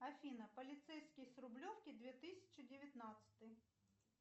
афина полицейский с рублевки две тысячи девятнадцатый